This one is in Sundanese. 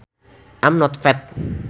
I am not fat